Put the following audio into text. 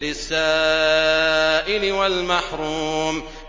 لِّلسَّائِلِ وَالْمَحْرُومِ